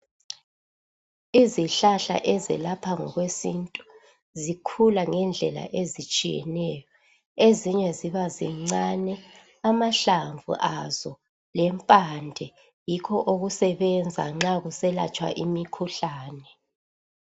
Izihlahla ezelapha ngokwesintu zikhula ngendlela ezitshiyeneyo ezinye ziba zincane amahlamvu azo lempande yikho okusebenza nxa kuselatshwa imikhuhlane.